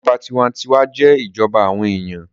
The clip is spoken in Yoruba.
Ìjọba tinwatinwa jẹ́ ìjọba àwọn èèyàn